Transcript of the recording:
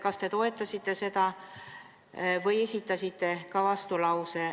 Kas te toetasite seda või esitasite vastulause?